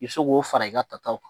I bi se k'o fara i ka taw kan